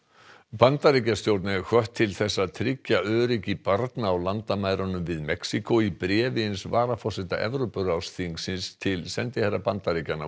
Bandaríkjastjórn er hvött til að tryggja öryggi barna á landamærunum við Mexíkó í bréfi eins varaforseta Evrópuráðsþingsins til sendiherra Bandaríkjanna